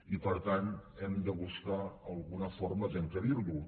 i per tant hem de buscar alguna forma d’encabirlo